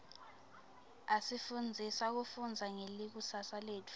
asifundzisa kufundza ngelikusasa letfu